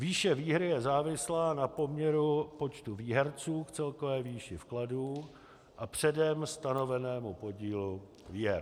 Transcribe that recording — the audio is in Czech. Výše výhry je závislá na poměru počtu výherců k celkové výši vkladů a předem stanovenému podílu výher.